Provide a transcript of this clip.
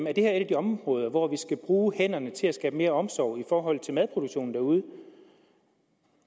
er et af de områder hvor vi skal bruge hænderne til at skabe mere omsorg i forhold til madproduktionen derude